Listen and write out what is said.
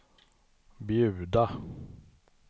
bjuda